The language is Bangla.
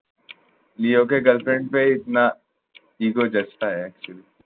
নিউইয়র্কে girlfriend পেয়ে